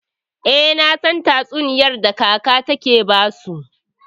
Eh, nasan tatsuniyar da kaka take basu.